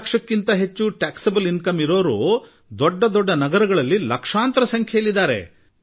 50 ಲಕ್ಷಕ್ಕಿಂತ ಹೆಚ್ಚು ತೆರಿಗೆ ವ್ಯಾಪ್ತಿಯ ಆದಾಯದ ಜನರು ದೊಡ್ಡ ದೊಡ್ಡ ನಗರಗಳಲ್ಲಿ ಲಕ್ಷಗಟ್ಟಲೆ ಸಂಖ್ಯೆಯಲ್ಲಿ ಕಾಣಸಿಗುತ್ತಾರೆ